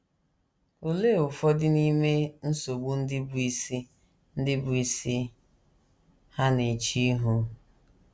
Olee ụfọdụ n’ime nsogbu ndị bụ́ isi ndị bụ́ isi ha na - eche ihu?